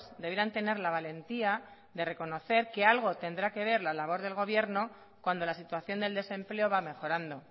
debieran tener la valentía de reconocer que algo tendrá que ver la labor del gobierno cuando la situación del desempleo va mejorando